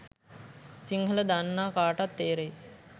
සිංහල දන්නා කාටත් තේරෙයි.